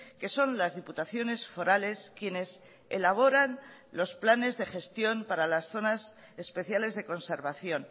que son las diputaciones forales quienes elaboran los planes de gestión para las zonas especiales de conservación